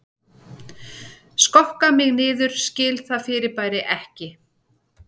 Skokka mig niður skil það fyrirbæri ekki